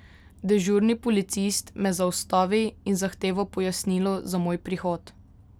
Dežurni policist me zaustavi in zahteva pojasnilo za moj prihod.